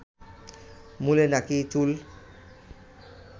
মূলে নাকি চুল